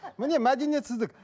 міне мәдениетсіздік